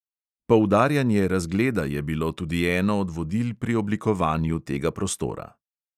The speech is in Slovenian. Poudarjanje razgleda je bilo tudi eno od vodil pri oblikovanju tega prostora.